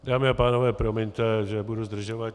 Dámy a pánové, promiňte, že budu zdržovat.